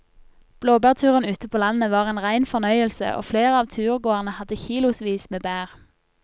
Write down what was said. Blåbærturen ute på landet var en rein fornøyelse og flere av turgåerene hadde kilosvis med bær.